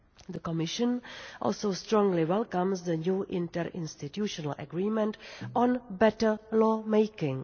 The Commission also strongly welcomes the new inter institutional agreement on better law-making.